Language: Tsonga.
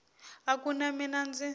a ku na mina ndzi